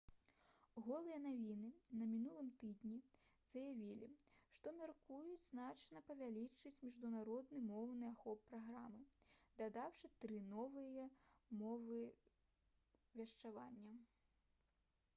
«голыя навіны» на мінулым тыдні заявілі што мяркуюць значна павялічыць міжнародны моўны ахоп праграмы дадаўшы тры новыя мовы вяшчання